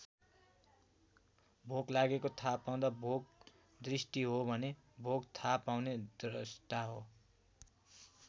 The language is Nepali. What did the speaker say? भोक लागेको थाहा पाउँदा भोक दृष्टि हो भने भोक थाहा पाउने द्रष्टा हो।